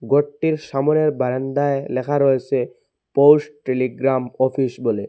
ঘরটির সামোনের বারান্দায় লেখা রয়েসে পোস্ট টেলিগ্রাম অফিস বলে।